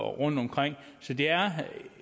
rundtomkring så det er